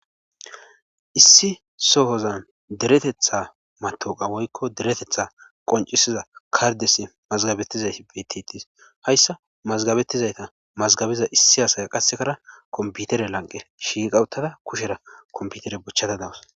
issi sohozan deretetha matoqa woykko deretetha qoncisiza kardesi mazgabettizayti btitis hayssa mazgabettizayta mazgabiza issi hasaya qassekara komputere lanqe shiiqawuttada kushera komputere bochchata dawus